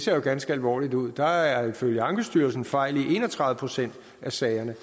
jo ganske alvorligt ud med der er ifølge ankestyrelsen fejl i en og tredive procent af sagerne